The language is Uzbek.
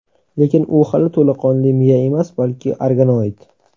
Lekin u hali to‘laqonli miya emas, balki organoid.